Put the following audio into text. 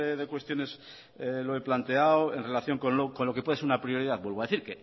de cuestiones lo he planteado en relación con lo que puede ser una prioridad vuelvo a decir